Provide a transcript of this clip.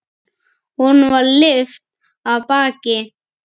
Honum var lyft af baki.